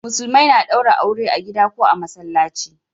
Musulmai na daure aure a gida ko a masallaci